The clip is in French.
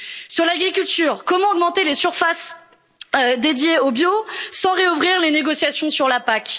Sur l'agriculture, comment augmenter les surfaces dédiées au bio sans réouvrir les négociations sur la PAC?